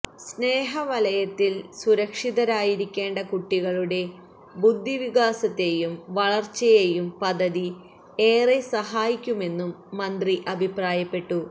സ്നേഹവലയത്തില് സുരക്ഷിതരായിരിക്കേണ്ട കുട്ടികളുടെ ബുദ്ധിവികാസത്തേയും വളര്ച്ചയെയും പദ്ധതി ഏറെ സഹായിക്കുമെന്നും മന്ത്രി അഭിപ്രായപ്പെട്ടു